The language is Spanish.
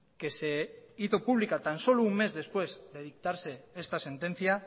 que se hizo pública tan solo un mes después de dictarse esta sentencia